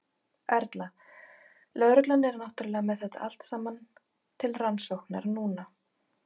Erla: Lögreglan er náttúrulega með þetta allt saman til rannsóknar núna?